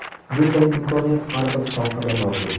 Bunday imkoniyat har bir sohada mavjud.